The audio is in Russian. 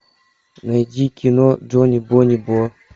найди кино джони бони бо